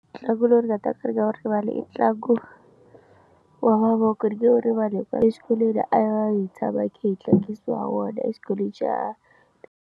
Ntlangu lowu ni nga ta ni nga wu rivali i ntlangu wa mavoko ni nge wu rivali hi ku exikolweni a ya hi tshama hi khe hi tlangisiwa wona exikolweni xa.